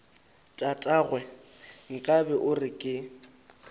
tatagwe nkabe o re ke